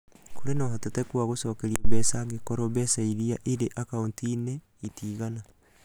Kũrĩ na ũhotekeku wa gũcokererio mbeca angĩkorũo mbeca iria irĩ akaunti-inĩ itiigana.